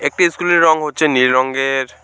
একটি স্কুটির রং হচ্ছে নীল রংয়ের।